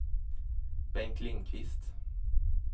Bengt Lindqvist